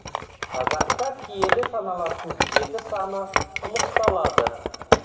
қазақта киелі саналатын жеті саны ұлықталады